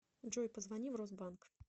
джой позвони в росбанк